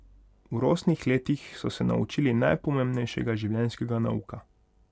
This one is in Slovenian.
V rosnih letih so se naučili najpomembnejšega življenjskega nauka.